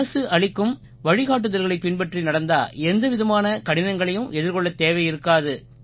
அரசு அளிக்கும் வழிகாட்டுதல்களைப் பின்பற்றி நடந்தா எந்தவிதமான கடினங்களையும் எதிர்கொள்ளத் தேவை இருக்காது